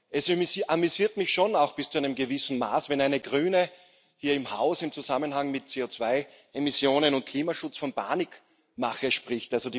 Es amüsiert mich schon auch bis zu einem gewissen Grad, wenn eine Grüne hier im Haus im Zusammenhang mit CO2 Emissionen und Klimaschutz von Panikmache spricht.